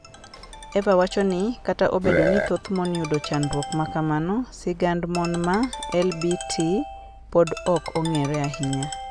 Eva wacho ni, "Kata obedo ni thoth mon yudo chandruok ma kamano, sigand mon ma LBT pod ok ong'ere ahinya.